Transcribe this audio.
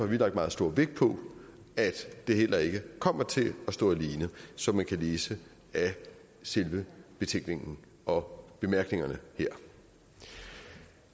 vi lagt meget stor vægt på at det heller ikke kommer til at stå alene som man kan læse af selve betænkningen og bemærkningerne her